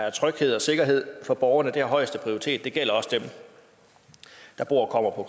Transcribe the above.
er tryghed og sikkerhed for borgerne det har højeste prioritet og det gælder også dem der bor og kommer på